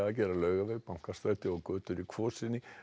að gera Laugaveg Bankastræti og götur í Kvosinni